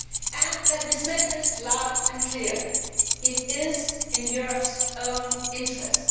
And let me say this loud and clear it is in Europe's own interest.